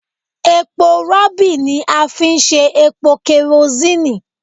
Epo rọ̀bì ni a fi ń ṣe epo kẹrosínì